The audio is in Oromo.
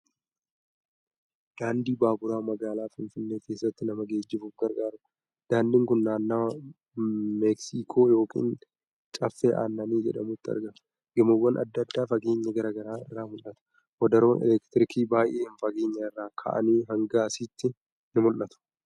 Daandii baaburaa magaalaa Finfinnee keessaatti nama geejibuuf gargaarudha. Daandiin kun naannawaa meeksikoo yookin Caffee Aannanii jedhamutti argama. Gamoowwan adda addaa fageenya garaagaraa irraa mul'atu. Wadaroon elektiriikii baay'een fageenya irraa ka'anii hanga asiitti ni mul'atu.